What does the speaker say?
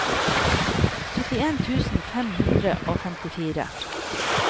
syttien tusen fem hundre og femtifire